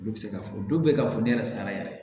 Olu bɛ se ka fɔ dɔw bɛ yen ka fɔ ne yɛrɛ salaya yɛrɛ